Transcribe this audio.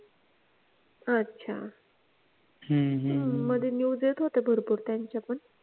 अच्छा मध्ये news येत होत्या भरपूर त्यांच्या पण